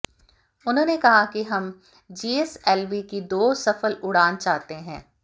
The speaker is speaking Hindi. उन्होंने कहा कि हम जीएसएलवी की दो सफल उड़ान चाहते हैं